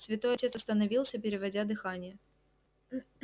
святой отец остановился переводя дыхание